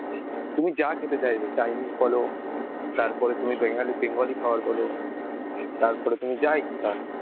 তুমি যা খেতে চাইবে chinese বলো, তারপরে তুমি বেন~ bengali খাবার বলো. তারপরে তুমি যা ইচ্ছা,